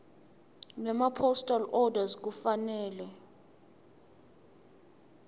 nemapostal orders kufanele